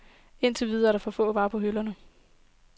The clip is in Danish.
Indtil videre er der for få varer på hylderne.